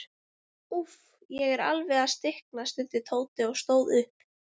Úff, ég er alveg að stikna stundi Tóti og stóð upp.